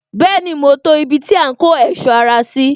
Bẹẹni, ma to ibi tí a ń kó ohun ẹ̀sọ́ ara sí